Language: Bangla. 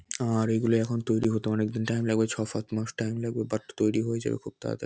আর এগুলি এখন তৈরি হতে এখন অনেক্দিন টাইম লাগবে ছ-সাত মাস টাইম লাগবে বাট তৈরি হয়ে যাবে খুব তাড়াতাড়--